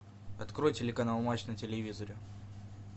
открой телеканал матч на телевизоре